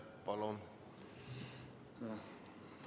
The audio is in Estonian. Palun!